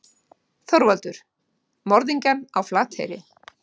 ÞORVALDUR: Morðingjann á Flateyri.